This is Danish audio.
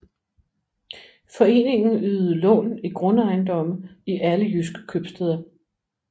Foreningen ydede lån i grundejendomme i alle jydske købstæder